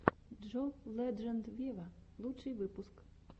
джон ледженд вево лучший выпуск